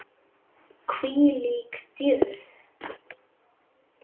Hvílík dýrð.